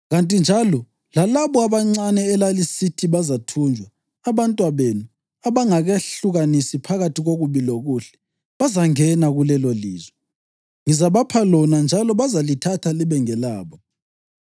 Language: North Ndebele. Kanti njalo lalabo abancane elalisithi bazathunjwa, abantwabenu abangakehlukanisi phakathi kokubi lokuhle, bazangena kulelolizwe. Ngizabapha lona njalo bazalithatha libe ngelabo.